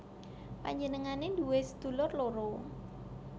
Panjenengané nduwé sedulur loro